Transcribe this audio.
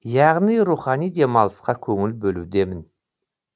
яғни рухани демалысқа көңіл бөлудемін